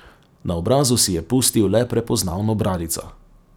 Na obrazu si je pustil le prepoznavno bradico.